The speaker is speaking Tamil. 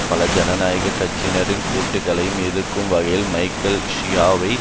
பல ஜனநாயக கட்சியினரின் கூற்றுக்களையும் எதிர்க்கும் வகையில் மைக்கேல் ஷியாவோவை